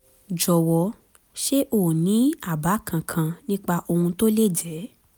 jọ̀wọ́ ṣé o ní àbá kankan nípa ohun tó lè jẹ́?